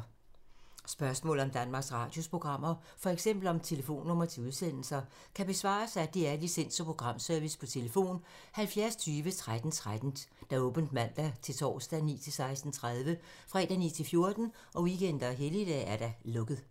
Spørgsmål om Danmarks Radios programmer, f.eks. om telefonnumre til udsendelser, kan besvares af DR Licens- og Programservice: tlf. 70 20 13 13, åbent mandag-torsdag 9.00-16.30, fredag 9.00-14.00, weekender og helligdage: lukket.